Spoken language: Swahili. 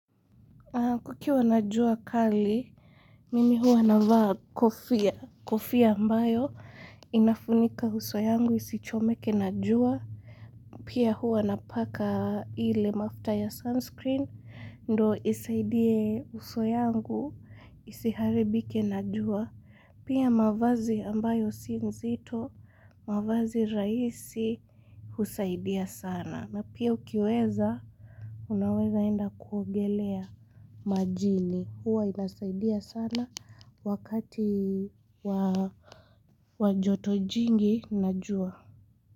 Kukiwa najua kali, mimi hua navaa kofia, kofia ambayo, inafunika uso yangu, isichomeke najua, pia hua napaka ile mafta ya sunscreen, ndo isaidie uso yangu, isiharibike najua, pia mavazi ambayo sinzito, mavazi raisi, husaidia sana. Na pia ukiweza unaweza enda kuogelea majini huwa inasaidia sana wakati wajoto jingi najua.